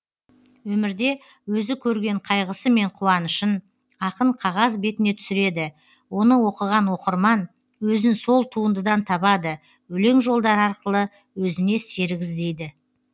өмірде өзі көрген қайғысы мен қуанышын ақын қағаз бетіне түсіреді оны оқыған оқырман өзін сол туындыдан табады өлең жолдары арқылы өзіне серік іздейді